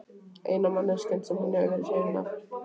Eina manneskjan sem hann hefur verið hrifinn af.